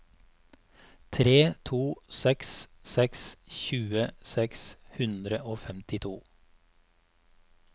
tre to seks seks tjue seks hundre og femtito